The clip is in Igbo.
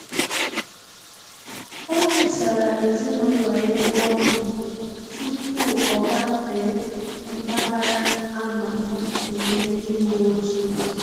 Ọ kesara ezinụlọ ya ebe ọ nọ tupu o gafee mpaghara a ma ama nke ndị uweojii